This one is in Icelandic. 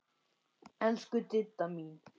Elsku Didda mín.